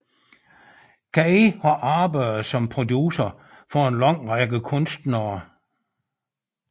Kaye har arbejdet som producer for an lang række kunstnere